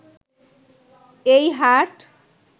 এই হাট